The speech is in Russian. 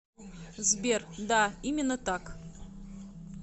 сбер да именно так